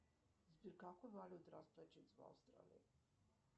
сбер какой валютой расплачиваются в австралии